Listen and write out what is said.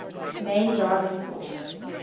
main driving force